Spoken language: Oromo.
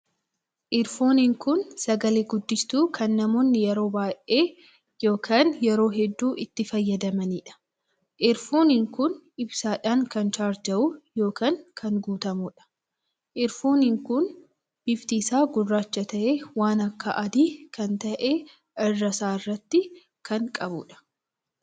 Erfoniin kun sagalee guddistuu kan kan namoonni yeroo baay'ee ykn yeroo hedduu itti fayyadamaniidha. erfoniin kun ibsaadhaan kan charjawu ykn kan guutamuudha. erfoniin kun bifti isaa gurraacha tahee waan akka adii kan tahe irra isaa irratti kan qabuudha.